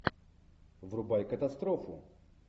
врубай катастрофу